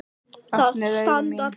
Opnuðu augu mín.